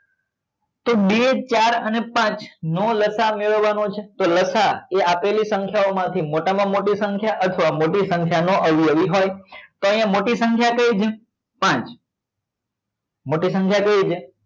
તો બે ચાર અને પાંચ નો લસા મેળવવા નો છે કે લસા એ આપેલી સંખ્યાઓ માંથી મોટા માં મોટી સંખ્યા અથવા મોટી સંખ્યા નો અવયવી હોય તો અહિયાં મોટી સંખ્યા કઈ છે પાંચ મોટી સંખ્યા કઈ છે